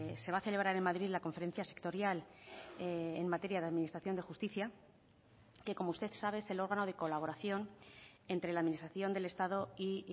se va a celebrar en madrid la conferencia sectorial en materia de administración de justicia que como usted sabe es el órgano de colaboración entre la administración del estado y